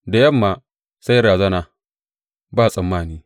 Da yamma, sai razana ba tsammani!